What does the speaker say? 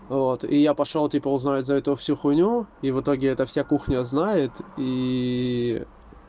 вот и я пошёл типа узнать за эту всю хуйню и в итоге это вся кухня знает и